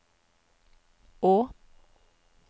å